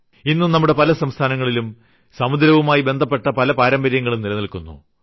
ഇന്നും നമ്മുടെ പല സംസ്ഥാനങ്ങളിലും സമുദ്രവുമായി ബന്ധപ്പെട്ട പല പാരമ്പര്യങ്ങളും നിലനില്ക്കുന്നു